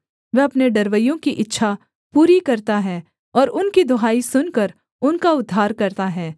वह अपने डरवैयों की इच्छा पूरी करता है और उनकी दुहाई सुनकर उनका उद्धार करता है